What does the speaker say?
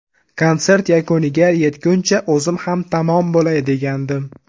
Konsert yakuniga yetguncha o‘zim ham tamom bo‘lay degandim.